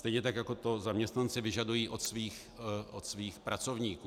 Stejně tak jako to zaměstnanci vyžadují od svých pracovníků.